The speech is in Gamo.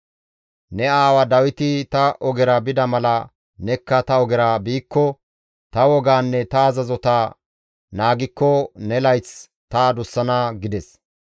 Ne aawa Dawiti ta ogera bida mala nekka ta ogera biikko, ta wogaanne ta azazota naagikko ne layth ta adussana» gides.